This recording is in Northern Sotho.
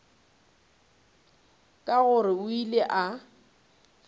ke gore o ile a